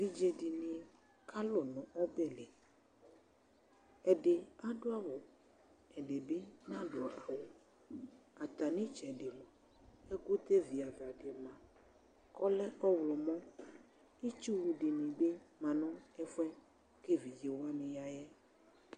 Évidzé dini kalu nu ɔbɛ li ɛdi adu awu ɛdi bi na du awu atami tsɛdi moa ɛkutɛ viava di moa ɔlɛ ɛwu mɔ itsu dini bi ma nu ɛfuɛ ké évidzé wani ya yɛ